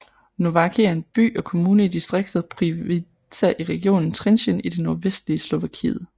Nováky er en by og kommune i distriktet Prievidza i regionen Trenčín i det nordvestlige Slovakiet